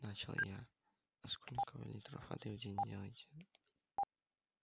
а начала я а сколько вы литров воды в день делаете